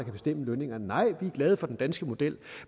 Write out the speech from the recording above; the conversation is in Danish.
bestemme lønningerne nej vi er glade for den danske model